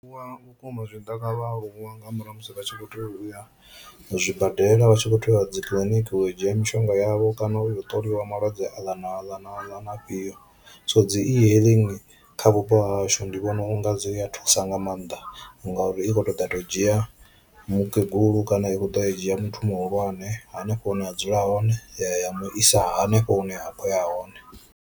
Vhukuma zwi tshi ḓa kha vhaaluwa nga murahu ha musi vha tshi kho to uya zwibadela vha tshi kho teya uya dzi kiḽiniki u ya u dzhia mishonga yavho kana u ya u ṱoliwa malwadze aḽa na aḽa na aḽa na afhio, so dzi e-hailing kha vhupo ha hashu ndi vhona unga dzi a thusa nga maanḓa ngauri i kho to ḓa ya to dzhia mukegulu kana i kho ḓo a dzhia muthu muhulwane hanefho hune a dzula hone ya ya ya mu isa hanefho hune a kho ya hone.